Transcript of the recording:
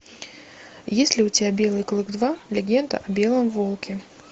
есть ли у тебя белый клык два легенда о белом волке